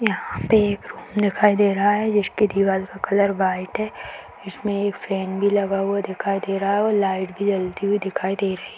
यहाँ पे एक रूम दिखाई दे रहा है जिसकी दीवार का कलर व्हाइट है इसमें एक फैन भी लगा हुआ दिखाई दे रहा है और लाइट भी जलती हुई दिखाई दे रही --